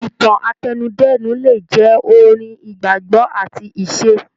Ìtàn àtẹnudẹ́nu le jẹ́ orin, ìgbàgbọ́ àti ìṣe.